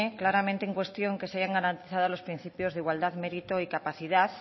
claramente en cuestión que se hayan garantizado los principios de igualdad mérito y capacidad